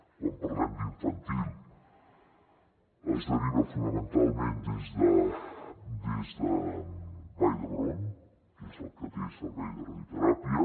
quan parlem d’infantil es deriva fonamentalment des de vall d’hebron que és el que té servei de radioteràpia